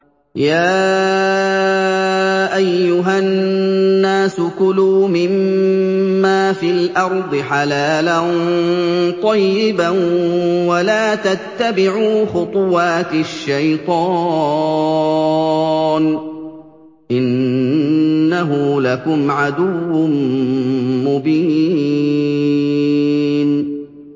يَا أَيُّهَا النَّاسُ كُلُوا مِمَّا فِي الْأَرْضِ حَلَالًا طَيِّبًا وَلَا تَتَّبِعُوا خُطُوَاتِ الشَّيْطَانِ ۚ إِنَّهُ لَكُمْ عَدُوٌّ مُّبِينٌ